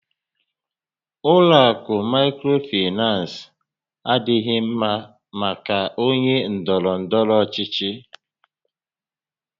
Ụlọ akụ Maịkrofinans adịghị ḿmá maka ónyé ndọrọ ndọrọ ọchịchị